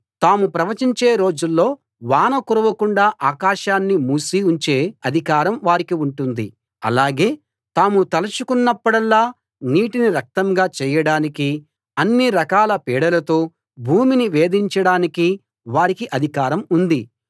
తాము ప్రవచించే రోజుల్లో వాన కురవకుండా ఆకాశాన్ని మూసి ఉంచే అధికారం వారికి ఉంటుంది అలాగే తాము తలచుకున్నపుడల్లా నీటిని రక్తంగా చేయడానికీ అన్ని రకాల పీడలతో భూమిని వేధించడానికీ వారికి అధికారం ఉంది